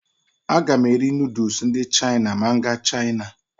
Aga m eri nuduls ndị Chaina ma m gaa Chaina.